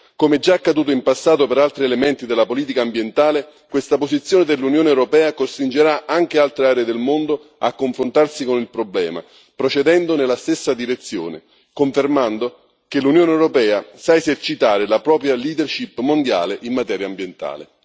Come già accaduto in passato per altri elementi della politica ambientale, questa posizione dell'Unione europea costringerà anche altre aree del mondo a confrontarsi con il problema procedendo nella stessa direzione, confermando che l'Unione europea sa esercitare la propria leadership mondiale in materia ambientale.